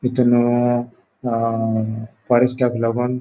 तीतून अ अ फॉरेस्टाक लागोन --